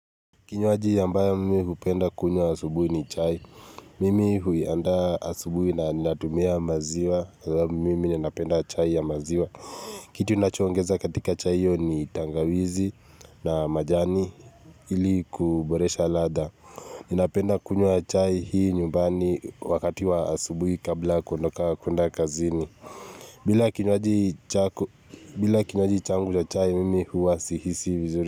Kinywaji ambayo mimi hupenda kunywa asubuhi ni chai. Mimi huiandaa asubuhi na natumia maziwa. Mimi ninapenda chai ya maziwa. Kitu ninachoongeza katika chai hiyo ni tangawizi na majani ili kuboresha ladha. Ninapenda kunywa chai hii nyumbani wakati wa asubuhi kabla kuondoka kwenda kazini. Bila kinywaji bila kinywaji changu wa chai, mimi huwa sihisi vizuri.